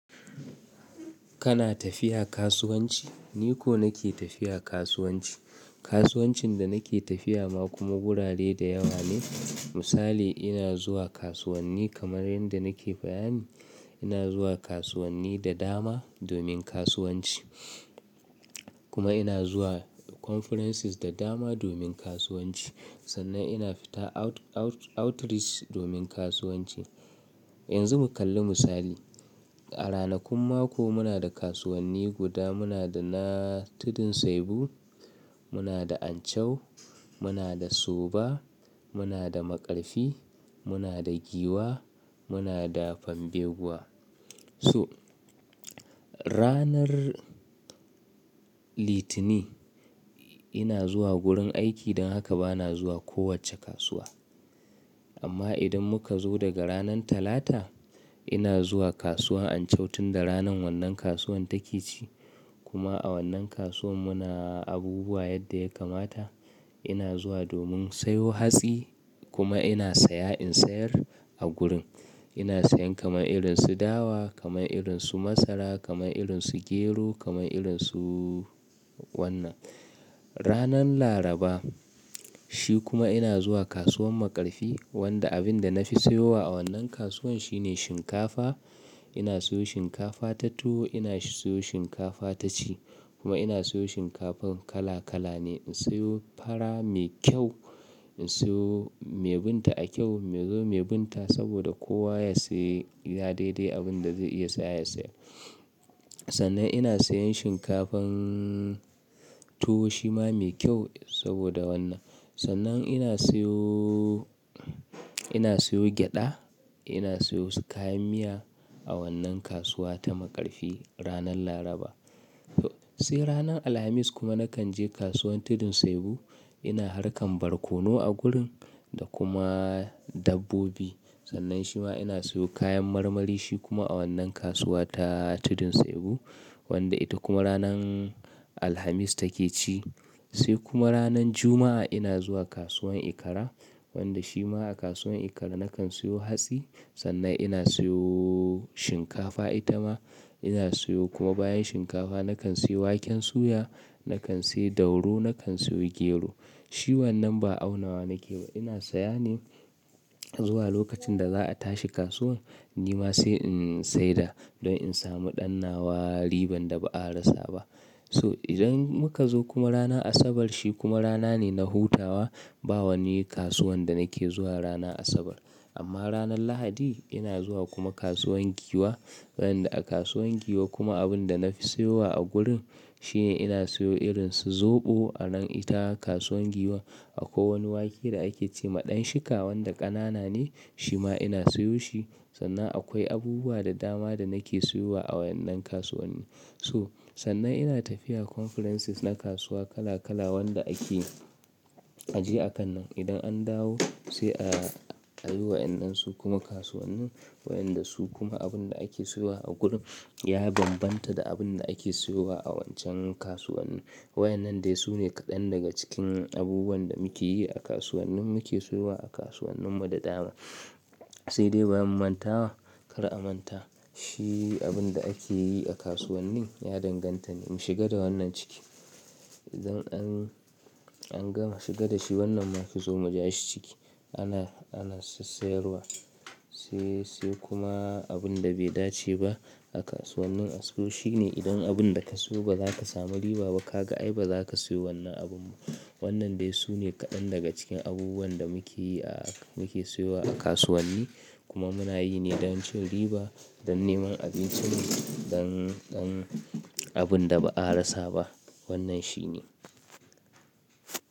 Kana tafiya kasuwanci? Ni ko nake tafiya kasuwanci. Kasuwancin da nake tafiya ma kuma gurare da yawa ne. Misali ina zuwa kasuwanni kamar yadda nake bayani, ina zuwa kasuwanni da dama domin kasuwanci kuma ina zuwa conferences da dama domin kasuwanci. Sannan ina fita outreach domin kasuwanci. Yanzu mu kalli misali. A ranakun mako muna da kasuwanni guda muna da na Tudun Saibu, muna da Anchau, muna da Soba, muna da Maƙarfi, muna da Giwa, muna da Fambegwa. So ranar Litini ina zuwa gurin aiki don haka bana zuwa kowacce kasuwa. Amma idan muka zo daga ranan Talata ina zuwa kasuwar Anchau tunda ranan wannan kasuwan take ci kuma a wannan kasuwa muna abubuwa yadda ya kamata. Ina zuwa domin sayo hatsi kuma ina saya in sayar a gurin. Ina sayan kamar irin su dawa, kamar irin su masara, kamar irin su gero, kamar irin su wannan. Ranar Laraba shi kuma ina zuwa kasuwar Maƙarfi wanda abin da na fi siyowa a wannan kasuwan shine shinkafa. Ina siyo shinkafa ta tuwo, ina siyo shinkafa ta ci kuma ina siyo shinkafan kala kala ne. In siyo fara mai kyau, in siyo mai binta a kyau, mai binta saboda kowa ya sayi ya daidai abin da zai iya saya ya saya. Sannan ina sayan shinkafan tuwo shima mai kyau saboda wannan. Sannan ina siyo, ina siyo gyada, ina siyo kayan miya a wannan kasuwa ta Maƙarfi ranar Laraba. Sai ranar Alhamis kuma nakan je kasuwar Tudun Saibu. Ina harkan barkono a gurin da kuma dabbobi. Sannan shima ina siyo kayan marmari shi kuma a wannan kasuwa ta Tudun Saibu wanda ita kuma ranan Alhamis take ci. Sai kuma ranan Juma'a ina zuwa kasuwan Ikara wanda shima a kasuwan Ikara nakan siyo hatsi sannan ina siyo shinkafa ita ma. Ina siyo kuma bayan shinkafa nakan siyo waken suya, nakan siyo dauro, nakan siyo gero. Shi wannan ba aunawa nake ba ina saya ne zuwa lokacin da za a tashi kasuwan ni ma sai in saida don in samu dannawa riban da ba a rasa ba. So idan muka zo kuma rana Asabar shi kuma rana ne na hutawa ba wani kasuwan da nake zuwa ranan Asabar. Amma ranan Lahadi ina zuwa kuma kasuwan Giwa wanda a kasuwan Giwa kuma abin da na fi sayowa a gurin shine ina siyo irin su zoɓo a nan ita kasuwan Giwa akwai wani wake da ake ce ma ɗanshika wanda ƙanana ne shima ina siyo shi. Sannan akwai abubuwa da dama da nake siyowa a wannan kasuwanni. To sannan ina tafiya conferences na kasuwa kala kala wanda ake ajiye a kan nan. Idan an dawo sai a yi wa yan nan su kuma kasuwanni waɗanda su kuma abin da ake siyowa a gurin ya bambanta da abin da ake siyowa a wancan kasuwanni. Waɗannan dai su ne kaɗan daga cikin abubuwan da muke yi a kasuwannin muke siyowa a kasuwannin mu da dama. Sai dai bayan mu manta wa kar a manta shi abin da ake yi a kasuwannin ya danganta ne mu shiga da wannan ciki. Idan an an gama shiga da shi wannan zomu ja shi ciki ana ana si sayarwa. Sai sai kuma abin da bai dace ba a kasuwannin aso shi ne idan abin da ka siyo ba za ka samu riba ba ka ga ai ba za ka sayo wannan abun. Wannan dai su ne kaɗan daga cikin abubuwan da muke yi a muke siyowa a kasuwanni kuma muna yi ne don cin riba don neman abincinmu don don abun da ba a rasa ba wannan shi ne.